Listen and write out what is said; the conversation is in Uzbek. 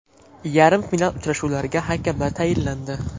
Yarim final uchrashuvlariga hakamlar tayinlandi.